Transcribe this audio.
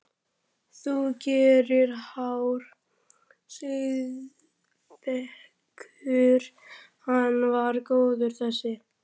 Þú gerir háar siðferðiskröfur, hann var góður þessi.